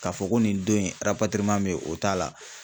Ka fɔ ko nin don in be ye o t'a la.